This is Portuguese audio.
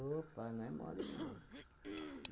não é mole, não.